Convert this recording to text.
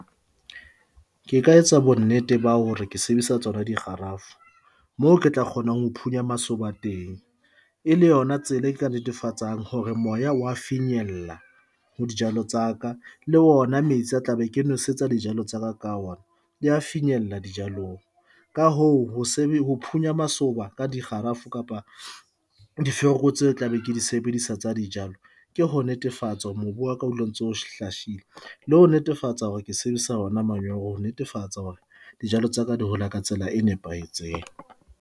Ke ka etsa bonnete ba hore ke sebedisa tsona dikgarafu moo ke tla kgonang ho phunya masoba teng, e le yona tsela e ka netefatsang hore moya wa finyella ho dijalo tsa ka le ona metsi a tla be ke nosetsa dijalo tsa ka ona. Di a finyella dijalong ka hoo ho ho phunya masoba ka dikgarafu kapa difereko tseo ke tla be ke di sebedisa tsa dijalo. Ke ho netefatsa hore mobu wa ka ho dula ntse o shahile le ho netefatsa hore ke sebedisa hona manyolo ho netefatsa hore dijalo tsa ka di hola ka tsela e nepahetseng.